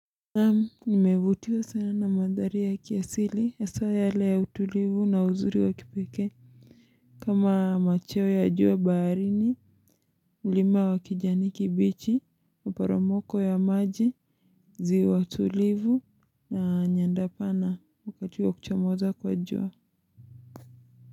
Nimevutiwa sana na mandhari ya kiasili hasaa yale ya utulivu na uzuri wa kipekee kama machweo ya jua baharini ulima wa kijani kibichi waporomoko ya maji ziwa tulivu na nyanda pana wakati wa kuchomoza kwa jua.